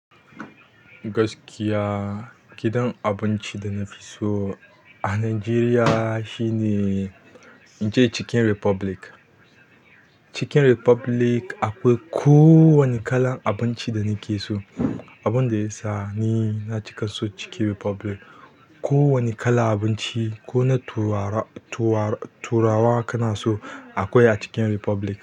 Gaskiya, gidan abinci da na fi so a Najeriya shine Chicken Republic. Chicken Republic akwai ko wane kalan abinci da nake so. Abinda yasa ni na cika son chicken republic kowane irin abinci kona turawa kana so akwai a chicken republic.